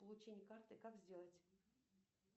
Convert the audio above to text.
получение карты как сделать